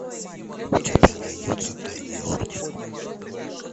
у тебя найдется тайный орден